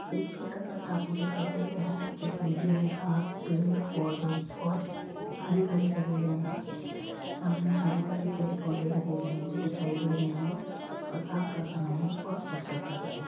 एक छोटा सा टापू दिखाई दे रहा है जिसमें ग्रीन घास पेड़ पौधे बोहोत हरे भरे लगे हुए हैं। सामने हरे भरे पेड़ पौधे लगे हुए हैं जो दिखाई दे रहे हैं और शाम का समय है। बोहोत खूबसूरत लग रहा है।